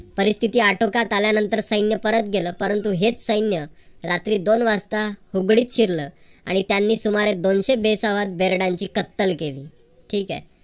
परिस्तिथी आटोक्यात आल्यानंतर सैन्य परत गेलं. परंतु हेच सैन्य रात्री दोन वाजता शिरलं आणि त्यांनी सुमारे दोनशे बेसावध बेरडांची कत्तल केली. ठीक हाय.